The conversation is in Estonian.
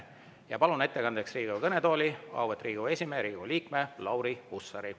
Ma palun ettekandeks Riigikogu kõnetooli auväärt Riigikogu esimehe, Riigikogu liikme Lauri Hussari.